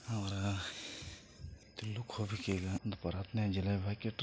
ಆವ್ರಾ ತಿನ್ನುಕ್ ಹೋಗ್ಬ್ಯಾಕ್ ಈಗಾ ಬರತ್ನಾಗ್ ಜಿಲೇಬಿ ಹಾಕಿಟ್ಯಾರ.